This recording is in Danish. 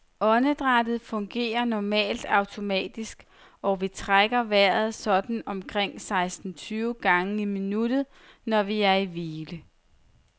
Åndedrættet fungerer normalt automatisk, og vi trækker vejret sådan omkring seksten tyve gange i minuttet, når vi er i hvile.